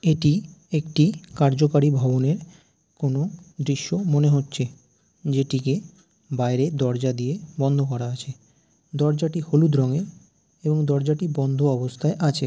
এটি একটি কার্যকরী ভবনের কোনো দৃশ্য মনে হচ্ছে। যেটিকে বাইরে দরজা দিয়ে বন্ধ করা হয়েছে। দরজা টি হলুদ রং এর এবং দরজাটি বন্ধ অবস্থায় আছে।